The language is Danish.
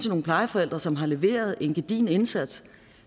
nogle plejeforældre som har leveret en gedigen indsats